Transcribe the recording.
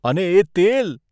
અને એ તેલ!